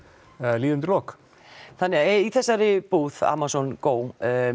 líður undur lok þannig að í þessari búð Amazon Go